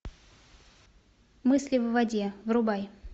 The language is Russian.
мысли в воде врубай